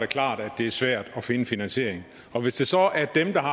klart at det er svært at finde finansieringen og hvis det så er dem der har